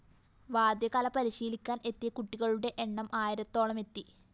വാദ്യകല പരിശീലിക്കാന്‍ എത്തിയ കുട്ടികളുടെ എണ്ണം ആയിരത്തോളമെത്തി